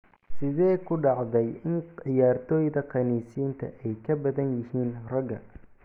Sidee ku dhacday in ciyaartoyda khaniisiinta ay ka badan yihiin ragga?